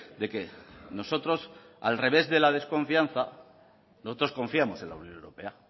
de que nosotros al revés de la desconfianza nosotros confiamos en la unión europea